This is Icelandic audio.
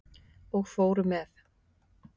Og fóru með.